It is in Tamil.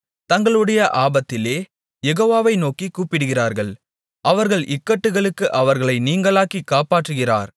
தங்களுடைய ஆபத்திலே யெகோவாவை நோக்கிக் கூப்பிடுகிறார்கள் அவர்கள் இக்கட்டுகளுக்கு அவர்களை நீங்கலாக்கிக் காப்பாற்றுகிறார்